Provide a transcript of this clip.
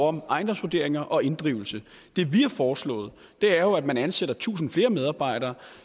om ejendomsvurderinger og inddrivelse det vi har foreslået er jo at man ansætter tusind flere medarbejdere